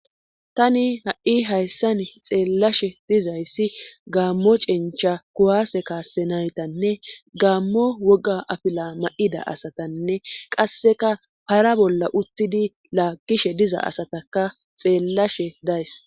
tani ha7i hayssan xeellashe dizayssi gaammo cencha kuwaase kaase naytanne gaammo woga afila ma7ida asatanne qasseka para bolla uttidi laaggishe diza asataka xeellashe days